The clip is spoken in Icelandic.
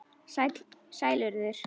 Sæl, Urður.